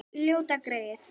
Ljóta greyið.